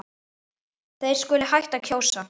Þeir skuli hætta að kjósa.